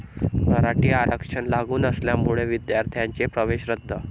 मराठा आरक्षण लागू नसल्यामुळे विद्यार्थ्यांचे प्रवेश रद्द